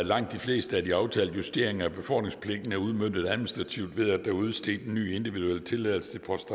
langt de fleste af de aftalte justeringer af befordringspligten er udmøntet administrativt ved at der er udstedt en ny individuel tilladelse til post